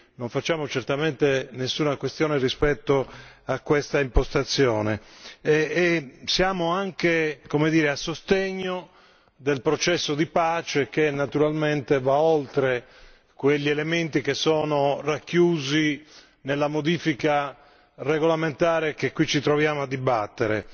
Non facciamo nessuna questione rispetto a questa impostazione e siamo anche, come dire a sostegno del processo di pace, che naturalmente va oltre quegli elementi che sono racchiusi nella modifica regolamentare che qui ci troviamo a dibattere.